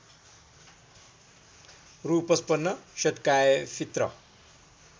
रु ५५ सद्काएफित्र